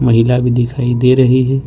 महिला भी दिखाई दे रही है।